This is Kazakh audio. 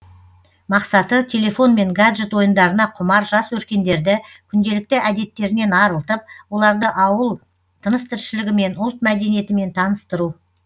мақсаты телефон мен гаджет ойындарына құмар жас өркендерді күнделікті әдеттерінен арылтып оларды ауыл тыныс тіршілігі мен ұлт мәдениетімен таныстыру